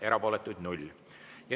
Erapooletuid oli 0.